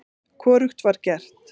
Hvorugt var gert.